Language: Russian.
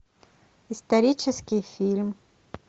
исторический фильм